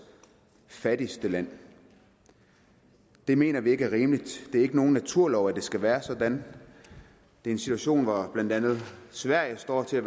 fattigste land det mener vi ikke er rimeligt og det er ikke nogen naturlov at det skal være sådan det er en situation hvor blandt andet sverige står til at